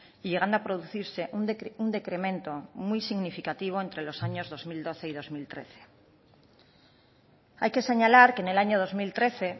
y llegando a producirse un decremento muy significativo entre los años dos mil doce y dos mil trece hay que señalar que en el año dos mil trece